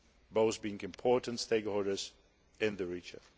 both being important stakeholders in the region.